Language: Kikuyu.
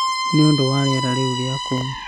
Nĩ ũndũ wa rĩera rĩũru rĩa kũu.